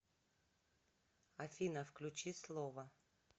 афина включи слово